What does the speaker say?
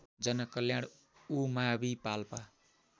जनकल्याण उमावि पाल्पा